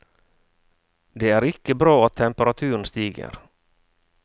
Det er ikke bra at temperaturen stiger.